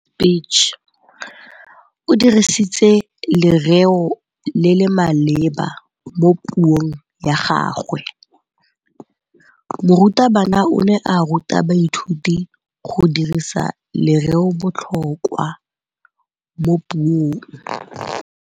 O dirisitse lerêo le le maleba mo puông ya gagwe. Morutabana o ne a ruta baithuti go dirisa lêrêôbotlhôkwa mo puong.